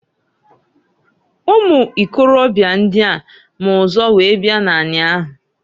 Ụmụ ikorobịa ndịa ma ụzọ wee bia n'ani ahụ.